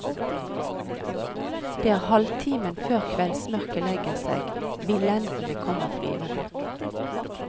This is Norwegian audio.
Det er halvtimen før kveldsmørket legger seg, villendene kommer flyvende.